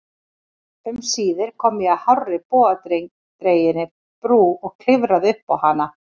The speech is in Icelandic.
Um síðir kom ég að hárri bogadreginni brú og klifraði uppá hana.